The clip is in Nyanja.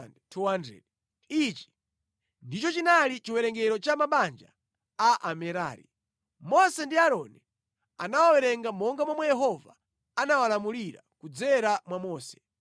Ichi ndicho chinali chiwerengero cha mabanja a Amerari. Mose ndi Aaroni anawawerenga monga momwe Yehova anawalamulira kudzera mwa Mose.